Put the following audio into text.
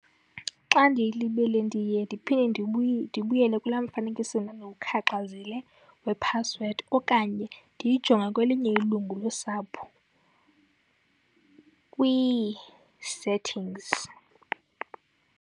Xa ndiyilibele ndiye ndiphinde ndibuyele kulaa mfanekiso ndandiwukhaxazile wephasiwedi okanye ndiyijonge kwelinye ilungu losapho kwii-settings.